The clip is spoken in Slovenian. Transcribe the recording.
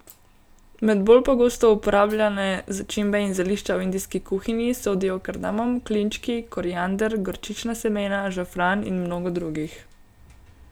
Med bolj pogosto uporabljane začimbe in zelišča v indijski kuhinji sodijo kardamom, klinčki, koriander, gorčična semena, žafran in mnogo drugih.